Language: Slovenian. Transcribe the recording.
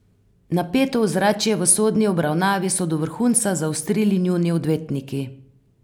Napeto ozračje v sodni obravnavi so do vrhunca zaostrili njuni odvetniki.